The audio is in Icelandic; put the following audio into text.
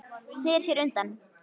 Sneri sér undan.